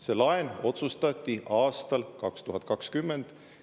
See laen otsustati aastal 2020.